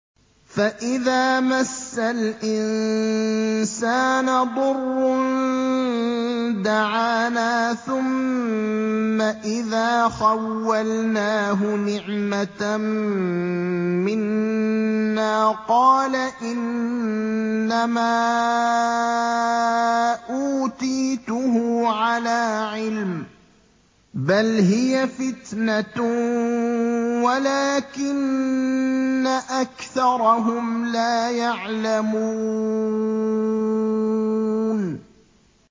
فَإِذَا مَسَّ الْإِنسَانَ ضُرٌّ دَعَانَا ثُمَّ إِذَا خَوَّلْنَاهُ نِعْمَةً مِّنَّا قَالَ إِنَّمَا أُوتِيتُهُ عَلَىٰ عِلْمٍ ۚ بَلْ هِيَ فِتْنَةٌ وَلَٰكِنَّ أَكْثَرَهُمْ لَا يَعْلَمُونَ